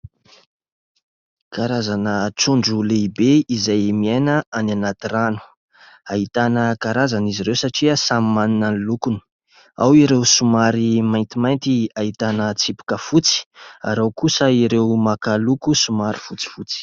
Karazana trondro lehibe izay miaina any anaty rano. Ahitana karazany izy ireo satria samy manana ny lokony; ao ireo somary maintimainty ahitana tsipika fotsy ary ao kosa ireo maka loko somary fotsifotsy.